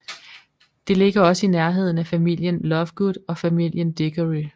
Det ligger også i nærheden af familien Lovegood og familien Diggory